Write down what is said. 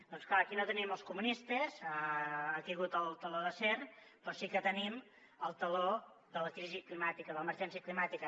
doncs clar aquí no tenim els comunistes ha caigut el teló d’acer però sí que tenim el teló de la crisi climàtica de l’emergència climàtica